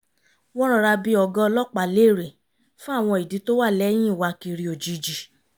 wọ́n rọra bi ọ̀gá ọlọ́pàá léèrè fún àwọn ìdí tó wà lẹ́yìn ìwákiri ójijì